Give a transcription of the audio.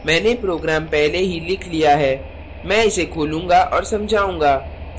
मैंने program पहले ही लिख लिया है मैं इसे खोलूँगा और समझाऊँगा